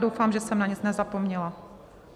Doufám, že jsem na nic nezapomněla.